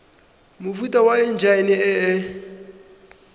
mofuta wa enjine e e